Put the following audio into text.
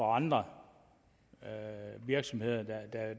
andre virksomheder